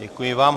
Děkuji vám.